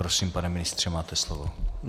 Prosím, pane ministře, máte slovo.